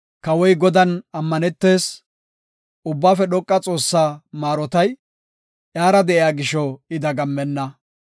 Kawoy Godan ammanetees; Ubbaafe dhoqa Xoossaa maarotay, iyara de7iya gisho I dagammenna.